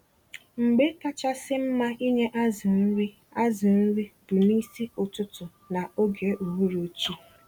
Mgbé kachasị mma ịnye azụ nri azụ nri bu N'isi ụtụtụ na ógè uhuruchi.